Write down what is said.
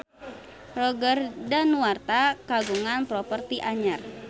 Roger Danuarta kagungan properti anyar